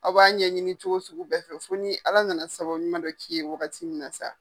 Aw b'a ɲɛɲini cogo suku bɛɛ fɛ fo ni ala nana sababu ɲuman dɔ k'i ye wagati min na sa.